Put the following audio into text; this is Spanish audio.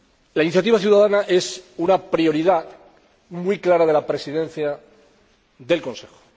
La iniciativa ciudadana es una prioridad muy clara de la Presidencia del Consejo.